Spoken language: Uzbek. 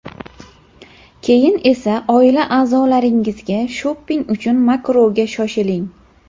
keyin esa oila a’zolaringizga shopping uchun Makroga shoshiling.